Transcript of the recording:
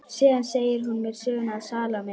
Síðan segir hún mér söguna af Salóme.